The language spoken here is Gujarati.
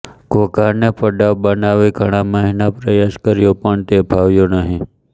ઘોઘાને પડાવ બનાવી ઘણા મહિના પ્રયાસ કર્યો પણ તે ફાવ્યો નહિ